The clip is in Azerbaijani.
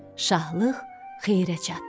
Şahlıq xeyrə çatdı.